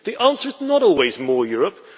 the answer is not always more Europe.